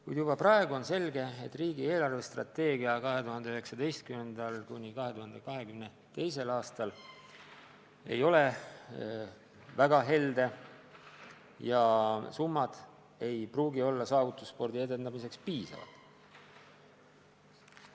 Kuid juba praegu on selge, et riigi eelarvestrateegia 2019.–2022. aastal ei ole väga helde ja summad ei pruugi olla saavutusspordi edendamiseks piisavad.